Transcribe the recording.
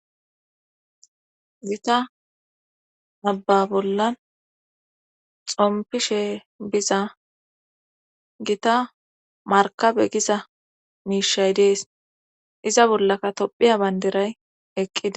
gita abba bolla xompishe biza gita markabe giza miishay dees iza bollaka tophiya bayndiray eqqida